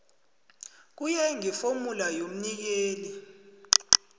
kuye ngefomula yomnikeli